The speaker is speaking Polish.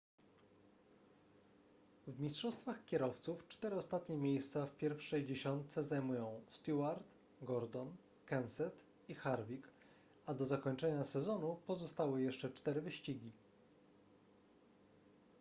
w mistrzostwach kierowców cztery ostatnie miejsca w pierwszej dziesiątce zajmują stewart gordon kenseth i harvick a do zakończenia sezonu pozostały jeszcze cztery wyścigi